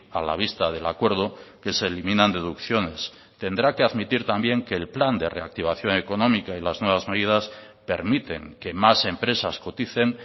a la vista del acuerdo que se eliminan deducciones tendrá que admitir también que el plan de reactivación económica y las nuevas medidas permiten que más empresas coticen